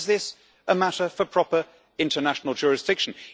How is this a matter for proper international jurisdiction?